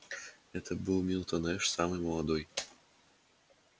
это был милтон эш самый молодой